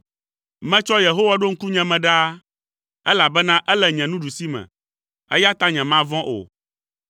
Metsɔ Yehowa ɖo ŋkunye me ɖaa, elabena ele nye nuɖusime, eya ta nyemavɔ̃ o.